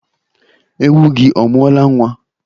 Ewu gị ọ mụọla nwa?